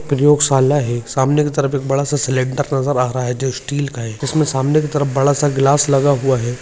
प्रयोगशाल्ला है एक सामने की तरफ एक बड़ा स सिलिंडर नजर आ रहा है जो स्टील का है उसमे सामने की तरफ बड़ा सा ग्लास लगा हुआ है।